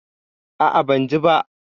A'a, ban ji ba.